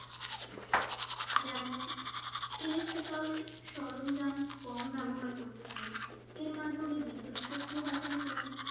যেমন electrical সরঞ্জাম কম ব্যবহার করতে পারি এর মাধ্যমে বিদ্যুৎ শক্তিও বাঁচানো যাবে